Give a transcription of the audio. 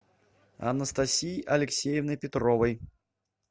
анастасией алексеевной петровой